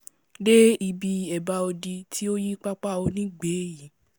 dé ibi èbá odi tí ó yí pápá onígbẹ̀ẹ ́yìí